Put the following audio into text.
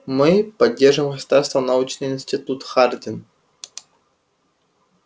мы поддерживаемый государством научный институт хардин